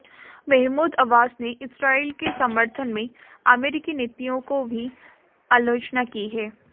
Mahmood Abbas ने इस्राईल के समर्थन में अमेरिकी नीतियों की भी आलोचना की है